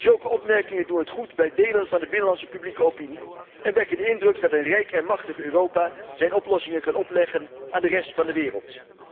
Zulke opmerkingen doen het goed bij delen van de binnenlandse publieke opinie en wekken de indruk dat een rijk en machtig Europa zijn oplossingen kan opleggen aan de rest van de wereld.